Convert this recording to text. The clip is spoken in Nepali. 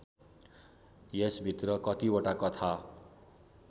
यसभित्र कतिवटा कथा